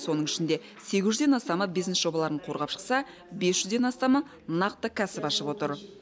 соның ішінде сегіз жүзден астамы бизнес жобаларын қорғап шықса бес жүзден астамы нақты кәсіп ашып отыр